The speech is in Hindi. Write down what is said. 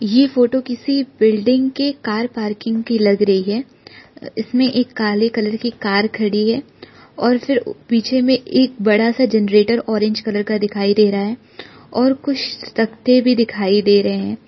यह फोटो किसी बिल्डिंग के कार पार्किंग की लग रही है इसमें एक काले कलर की कार खड़ी है और फिर पीछे में एक बड़ा सा जनरेटर ऑरेंज कलर का दिखाई दे रहा है और कुछ तख्ते भी दिखाई दे रहे हैं।